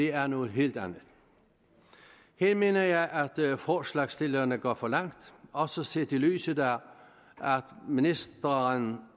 er noget helt andet her mener jeg at forslagsstillerne går for langt også set i lyset af at ministeren